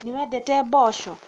nĩwendete mboco?